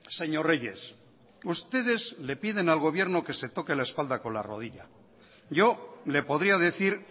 señor reyes ustedes le piden al gobierno que se toque la espalda con la rodilla yo le podría decir